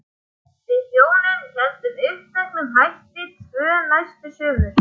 Við hjónin héldum uppteknum hætti tvö næstu sumur.